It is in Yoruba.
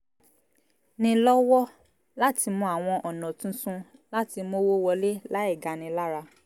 ni lọ́wọ́ị láti mọ àwọn ọ̀nà tuntun láti mówó wọlé láì gani lára